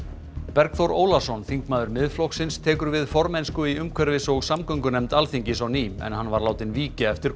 Bergþór Ólason þingmaður Miðflokksins tekur við formennsku í umhverfis og samgöngunefnd Alþingis á ný en hann var látinn víkja eftir